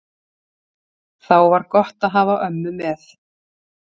Þá var gott að hafa ömmu með.